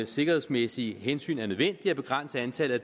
sikkerhedsmæssige hensyn er nødvendigt at begrænse antallet